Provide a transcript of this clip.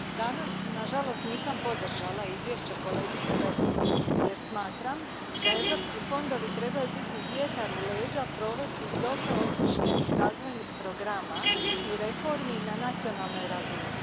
Gospodine predsjedniče, danas na žalost nisam podržala Izvješće kolegice Vesval, jer smatram da europski fondovi trebaju biti vjetar u leđa provedbi dobro osmišljenih razvojnih programa i reformi na nacionalnoj razini.